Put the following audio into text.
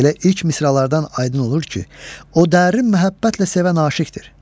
Elə ilk misralardan aydın olur ki, o dərin məhəbbətlə sevən aşiqdir.